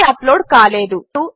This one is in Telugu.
ఏదీ అప్లోడ్ కాలేదు